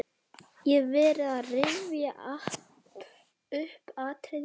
Ég hef verið að rifja upp atriði úr